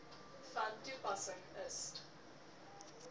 self kom toespreek